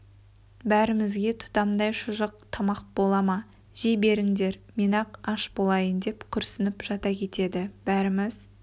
бәрімізге тұтамдай шұжық тамақ бола ма жей беріңдер мен-ақ аш болайын деп күрсініп жата кетеді бәріміз